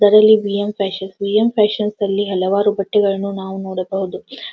ಇದರಲ್ಲಿ BM fashion BM ಪ್ಯಾಶನ್ನಲ್ಲಿ ಹಲವಾರು ಬಟ್ಟೆಗಳನ್ನ ನಾವು ನೋಡಬಹುದು.